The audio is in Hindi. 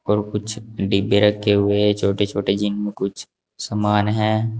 और कुछ डिब्बे रखे हुए हैं छोटे छोटे जिनमें कुछ समान है।